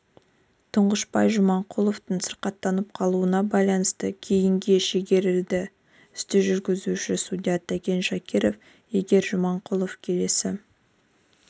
тұңғышбай жаманқұловтың сырқаттанып қалуына байланысты кейінге шегерілді істі жүргізуші судья тәкен шакиров егер жаманқұлов келесі